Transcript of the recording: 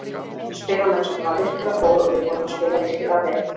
Spilamennskan var virkilega góð og við vorum að spila virkilega vel.